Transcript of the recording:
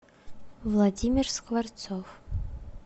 владимир скворцов